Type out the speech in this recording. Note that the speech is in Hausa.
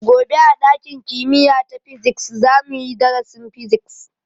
Gobe a ɗakin kimiya ta physics za mu yi darasin Physics.